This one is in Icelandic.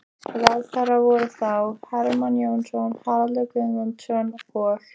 Ráðherrar voru þá: Hermann Jónasson, Haraldur Guðmundsson og